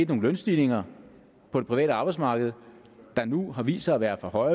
nogle lønstigninger på det private arbejdsmarked der nu har vist sig at være for